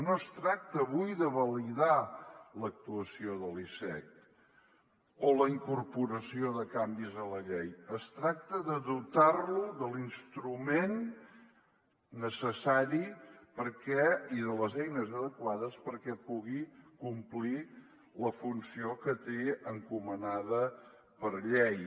no es tracta avui de validar l’actuació de l’icec o la incorporació de canvis en la llei es tracta de dotar lo de l’instrument necessari i de les eines adequades perquè pugui complir la funció que té encomanda per llei